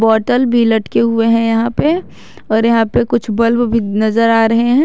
Bottle भी लटके हुए हैं यहां पे और यहां पर कुछ बल्ब भी नजर आ रहे हैं।